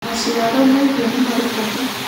maciaro ma irio nĩmari bata